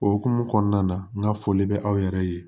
O hukumu kɔnɔna na n ka foli bɛ aw yɛrɛ ye